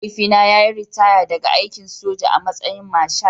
Mahaifina ya yi ritaya daga aikin soja a matsayin Marshal